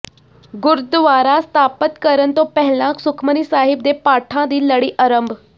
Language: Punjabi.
ਗੁਰਦੁਆਰਾ ਸਥਾਪਤ ਕਰਨ ਤੋਂ ਪਹਿਲਾਂ ਸੁਖਮਨੀ ਸਾਹਿਬ ਦੇ ਪਾਠਾਂ ਦੀ ਲੜੀ ਅਰੰਭ